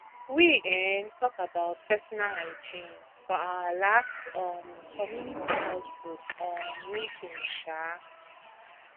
we um talk about personal hygiene for our last um community health group um meeting um